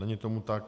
Není tomu tak.